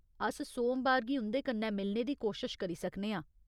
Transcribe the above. अस सोमबार गी उं'दे कन्नै मिलने दी कोशश करी सकने आं।